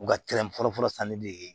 U ka fɔlɔ fɔlɔ sanni de ye